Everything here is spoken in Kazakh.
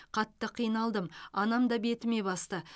қатты қиналдым анам да бетіме басты